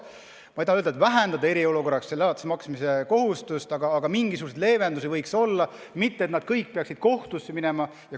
Ma ei taha öelda, et tuleb vähendada eriolukorras selle elatise maksmise kohustust, aga mingisugune leevendus võiks olla, nii et kõik ei pea kohtusse minema.